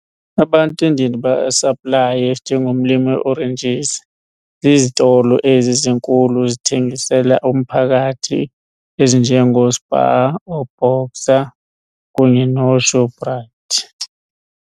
Abantu endiye ndibasaplaye njengomlimi we-oranges zizitolo ezi zinkulu zithengisela umphakathi ezinje ngoSpar ooBoxer kunye nooShoprite.